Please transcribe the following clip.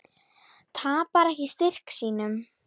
Tapar ekki styrk sínum.